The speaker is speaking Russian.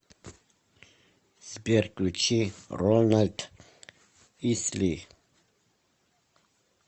сбер включи рональд исли